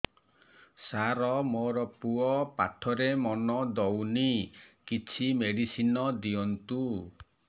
ସାର ମୋର ପୁଅ ପାଠରେ ମନ ଦଉନି କିଛି ମେଡିସିନ ଦିଅନ୍ତୁ